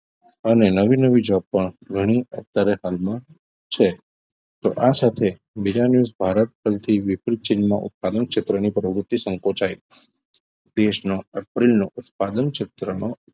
અને નવી નવી જોબ પણ ઘણી અત્યારે હાલમાં છે તો આ સાથે બીજા news ભારત પરથી વિપરીત ચીનમાં ઉત્પાદન ક્ષેત્રની પ્રવૃત્તિ સંકોચાઈ દેશનો એપ્રિલ નો ઉત્પાદન ક્ષેત્રનું